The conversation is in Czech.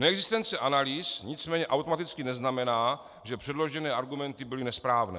Neexistence analýz nicméně automaticky neznamená, že předložené argumenty byly nesprávné.